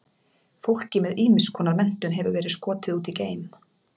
Fólki með ýmiss konar menntun hefur verið skotið út í geim.